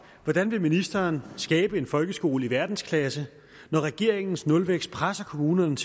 hvordan vil ministeren skabe en folkeskole i verdensklasse når regeringens nulvækst presser kommunerne